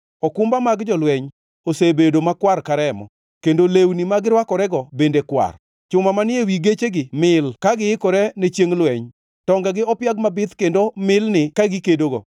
Okumba mag jolweny osebedo makwar ka remo; kendo lewni ma girwakorego bende kwar. Chuma manie ewi gechegi mil ka giikore ne chiengʼ lweny; tongegi opiag mabith kendo milni ka gikedogo.